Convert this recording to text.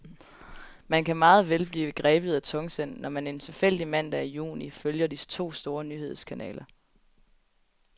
Man kan meget vel blive grebet af tungsind, når man en tilfældig mandag i juni følger de to store nyhedskanaler.